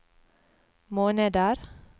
måneder